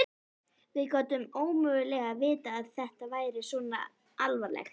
Við gátum ómögulega vitað að þetta væri svona alvarlegt.